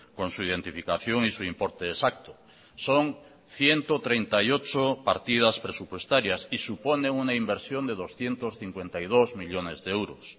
con su identificación y su importe exacto son ciento treinta y ocho partidas presupuestarias y supone una inversión de doscientos cincuenta y dos millónes de euros